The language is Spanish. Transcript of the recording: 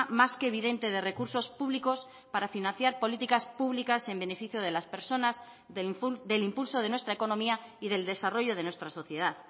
más que evidente de recursos públicos para financiar políticas públicas en beneficio de las personas del impulso de nuestra economía y del desarrollo de nuestra sociedad